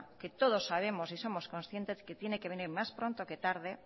que todos sabemos y somos conscientes de que tiene que venir más pronto que tarde